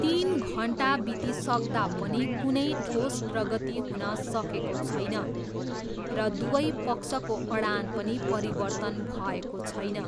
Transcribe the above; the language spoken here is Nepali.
तिन घन्टा बितिसक्दा पनि कुनै ठोस प्रगति हुन सकेको छैन र दुवै पक्षको अडान पनि परिवर्तन भएको छैन।